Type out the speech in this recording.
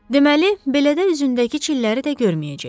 Deməli, beləcə üzündəki çilləri də görməyəcəkdi.